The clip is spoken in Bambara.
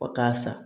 O t'a sa